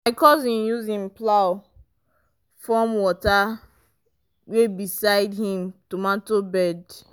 my cousin use him plow form water way beside him tomato bed.